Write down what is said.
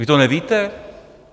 Vy to nevíte?